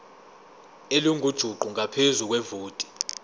elingujuqu ngaphezu kwevoti